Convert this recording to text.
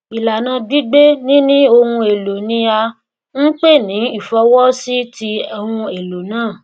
ìlànà gbígbée níni ohun èlò ni à ń pè ní ìfọwọsíti ohun èlò náà